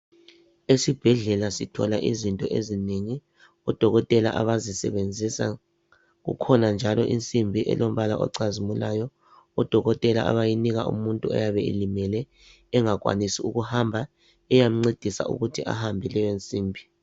Esibhedlela sithola izinto ezinengi, odokotela abazisebenzisa kukhona njalo insimbi elombala ocazimulayo odokotela abayinika umuntu oyabe elimele engakwanisi ukuhamba eyamncedisa ukuthi ahambe leyo nsimbi